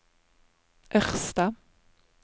Ørsta